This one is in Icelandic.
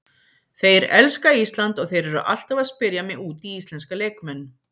Þeir elska Ísland og þeir eru alltaf að spyrja mig út í íslenska leikmenn.